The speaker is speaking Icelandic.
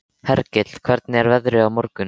Hergill, hvernig er veðrið á morgun?